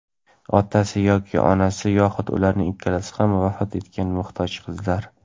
otasi yoki onasi yoxud ularning ikkalasi ham vafot etgan muhtoj qizlar;.